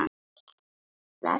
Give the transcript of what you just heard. Allt í plati.